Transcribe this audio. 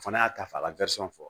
O fana y'a ta f'a ka fɔ